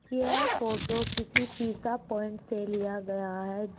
यह फोटो किसी pizza point से लिया गया है।